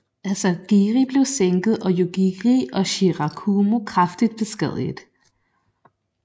Asagiri blev sænket og Yugiri og Shirakumo kraftigt beskadiget